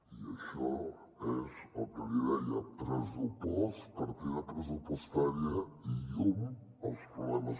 i això és el que li deia pressupost partida pressupostària i llum als problemes